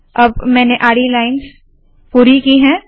अब मैंने आडी लाइन्स पूरी की है